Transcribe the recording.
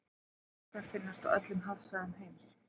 höfrungar finnast á öllum hafsvæðum heims